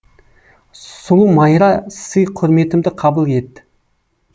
сұлу майра сый құрметімді қабыл ет